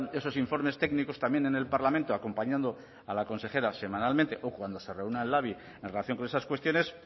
esos informes técnicos también en el parlamento acompañando a la consejera semanalmente o cuando se reúna el labi en relación con esas cuestiones